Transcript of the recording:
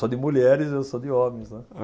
Só de mulheres e eu só de homens, né.